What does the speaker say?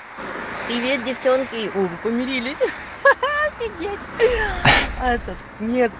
привет девчонки о вы помирились офигеть этот нет